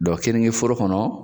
Dɔnki keninke foro kɔnɔ